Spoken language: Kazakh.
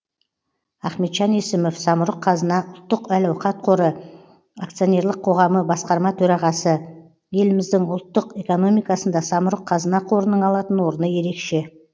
ахметжан есімов самұрық қазына ұлттық әл ауқат қоры акционерлік қоғамы басқарма төрағасы еліміздің ұлттық экономикасында самұрық қазына қорының алатын орны ерекше